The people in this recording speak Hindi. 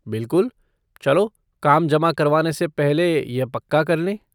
बिलकुल, चलो काम जमा करवाने से पहले यह पक्का कर लें।